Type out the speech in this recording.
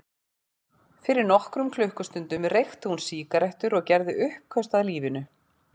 Fyrir nokkrum klukkustundum reykti hún sígarettur og gerði uppköst að lífinu.